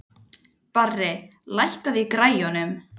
Henni sýnist hann gjóa augunum annað veifið til sín.